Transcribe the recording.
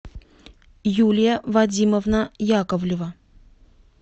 юлия вадимовна яковлева